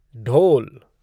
ढोल